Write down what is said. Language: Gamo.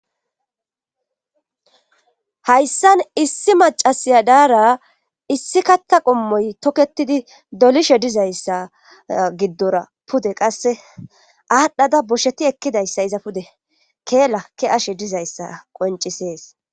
Hayssan issi macasiya daara issi katta qommoy tokketidi dolishe dizayssa giddora pude qasse aadhdhada bosheti ekkidayssa iza pude keelakki ashe dizayssa qoncisees.